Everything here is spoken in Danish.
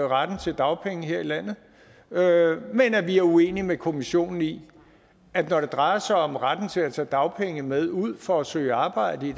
retten til dagpenge her i landet men at vi er uenige med kommissionen i at når det drejer sig om retten til at tage dagpenge med ud for at søge arbejde i